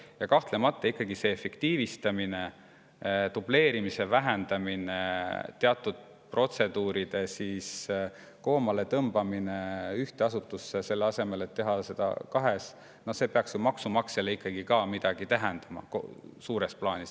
Ja kahtlemata ikkagi see efektiivistamine, dubleerimise vähendamine, teatud protseduuride koomaletõmbamine ühte asutusse, selle asemel et teha seda kahes – see peaks ju maksumaksjale ikkagi suures plaanis midagi tähendama.